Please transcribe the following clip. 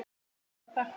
Fyrir það ber að þakka.